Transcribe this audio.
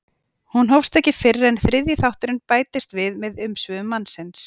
hún hófst ekki fyrr en þriðji þátturinn bætist við með umsvifum mannsins